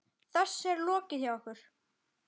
Þessu er lokið hjá okkur.